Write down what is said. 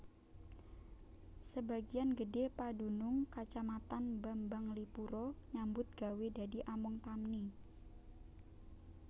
Sebagian gedhé padunung Kacamatan Bambanglipuro nyambut gawé dadi among tani